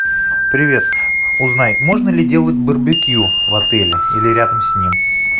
привет узнай можно ли делать барбекю в отеле или рядом с ним